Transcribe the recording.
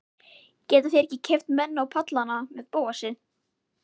Geta þeir ekki keypt menn á pallana með Bóasi?